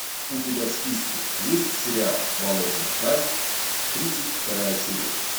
у тебя в списке есть сериал болотная тварь тридцать вторая серия